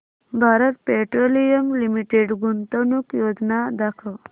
Bharat Petroleum Limited गुंतवणूक योजना दाखव